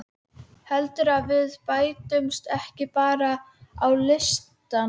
Heldurðu að við bætumst ekki bara á listann?